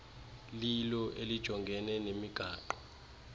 lilo elijongene nemigaqo